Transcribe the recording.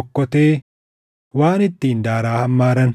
okkotee, waan ittiin daaraa hammaaran,